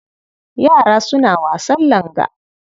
Yara suna wasan langa.